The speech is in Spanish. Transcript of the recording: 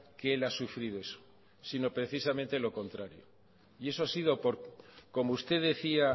que él ha sufrido eso sino precisamente lo contrario y eso ha sido como usted decía